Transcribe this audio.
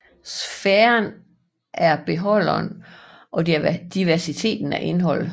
Sfæren er beholderen og diversiteten er indholdet